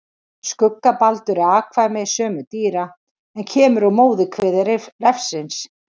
Skuggabaldur er afkvæmi sömu dýra en kemur úr móðurkviði refsins.